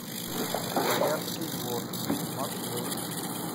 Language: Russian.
боярский двор маршрут